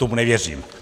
Tomu nevěřím.